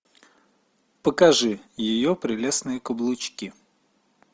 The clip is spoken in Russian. покажи ее прелестные каблучки